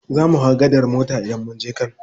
Zamu hau gadar mota idan munje kano.